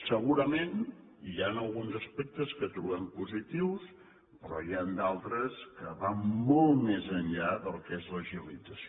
segurament hi han alguns aspectes que trobem positiu però n’hi han d’altres que van molt més enllà del que és l’agilització